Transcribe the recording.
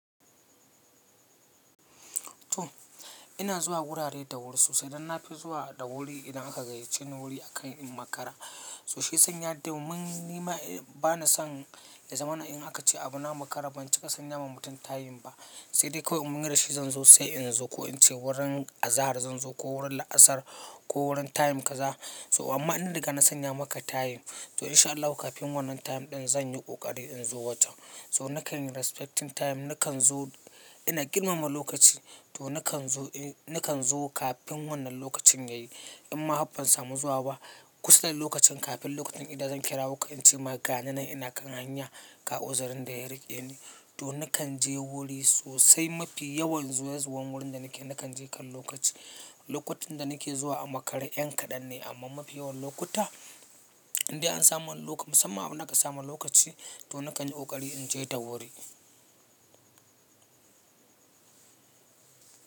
To ina zuwa wurare da wuri sosai idan na fi zuwa da wuri idan aka gayyace ni wuri akan in makara. So shi sanya domin nima bana son na zama na in aka ce abu na makara ban cika sanya ma mutum tayim ba. Sai dai kawai mun yarda shi zan zo sai in zo ko in ce wurin azahar zan zo ko wurin la'asar ko wurin tayim kaza. So amma inda daga na sanya maka tayim to insha Allahi kafin wannan tayim ɗin zan yi ƙoƙari in zo wajen. So nakan respecting tayim nakan zo ina girmama lokaci to nakan zo nakan zo kafin wannan lokacin yayi. In ma har ban samu zuwa ba kusan lokacin kafin lokacin ida zan kira wuƙa in ce maka gani nan ina kan hanya ga uzirin da ya rike ni. To nakan je wuri sosai mafi yawan zuwa zuwan wurin da nake nakan je kan lokaci. Lokutan da nake zuwa a makara yan kaɗan ne amma mafi yawan lokuta inda an samu musamman abu naka samu lokaci to nakan yi ƙoƙari in je ta wuri.